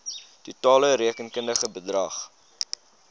totale rekenkundige bedrag